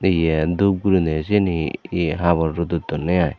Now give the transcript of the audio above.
ye dup gurinei syeni ye habor rodot donney i.